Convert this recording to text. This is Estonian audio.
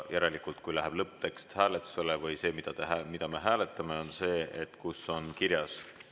Järelikult, kui läheb lõpptekst hääletusele või see, mida me hääletame, on see, kus on kirjas ...